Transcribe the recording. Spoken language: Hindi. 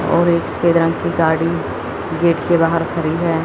और एक सफेद रंग की गाड़ी गेट के बाहर खड़ी है।